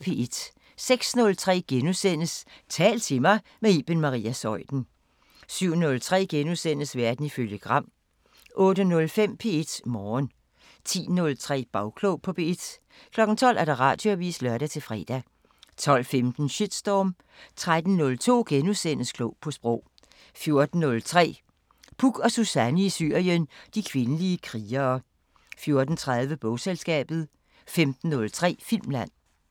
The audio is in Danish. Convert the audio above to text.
06:03: Tal til mig – med Iben Maria Zeuthen * 07:03: Verden ifølge Gram * 08:05: P1 Morgen 10:03: Bagklog på P1 12:00: Radioavisen (lør-fre) 12:15: Shitstorm 13:03: Klog på Sprog * 14:03: Puk og Suzanne i Syrien: De kvindelige krigere 14:30: Bogselskabet 15:03: Filmland